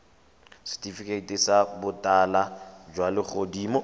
setifikeiti sa botala jwa legodimo